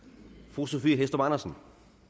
fru sophie hæstorp andersen